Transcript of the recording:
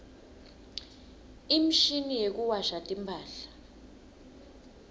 imshini yekuwasha timphahla